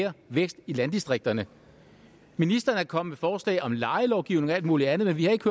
mere vækst i landdistrikterne ministeren er kommet med forslag om lejelovgivning og alt muligt andet men vi har ikke